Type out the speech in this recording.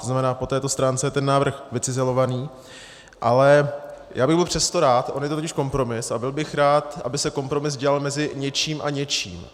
To znamená, po této stránce je ten návrh vycizelovaný, ale já bych byl přesto rád, on je to totiž kompromis, a byl bych rád, aby se kompromis dělal mezi něčím a něčím.